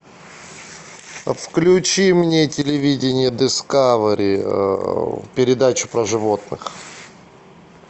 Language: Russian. включи мне телевидение дискавери передачу про животных